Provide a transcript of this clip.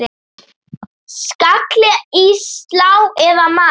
Skalli í slá eða mark?